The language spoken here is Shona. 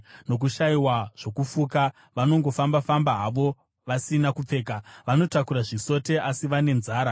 Nokushayiwa zvokufuka, vanongofamba-famba havo vasina kupfeka; vanotakura zvisote, asi vane nzara.